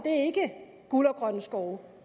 guld og grønne skove